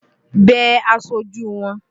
Bẹ aṣojú wọn!